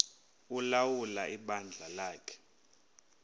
ulawula ibandla lakhe